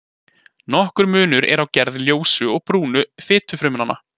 Nokkur munur er á gerð ljósu og brúnu fitufrumnanna.